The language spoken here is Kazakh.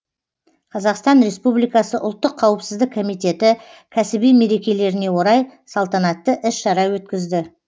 қазақстан республикасы ұлттық қауіпсіздік комитеті кәсіби мерекелеріне орай салтанатты іс шара өткізді